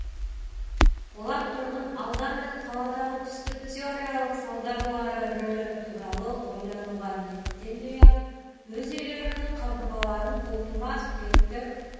олар тұрғын аудан мен қаладағы түсті теориялық салдарлары рөлі туралы ойлануға ниеттенбей ақ өз үйлерінің қабырғаларын қолтума суреттік